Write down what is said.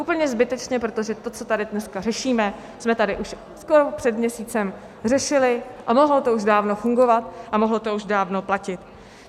Úplně zbytečně, protože to, co tady dneska řešíme, jsme tady už skoro před měsícem řešili a mohlo to už dávno fungovat a mohlo to už dávno platit.